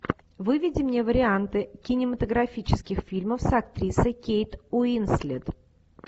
выведи мне варианты кинематографических фильмов с актрисой кейт уинслет